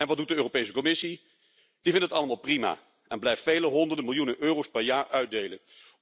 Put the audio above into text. En wat doet de Europese Commissie? Die vindt het allemaal prima en blijft vele honderden miljoenen euro's per jaar uitdelen.